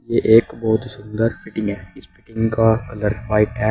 ये एक बहोत सुंदर फिटिंग है इस फिटिंग का कलर व्हाइट है।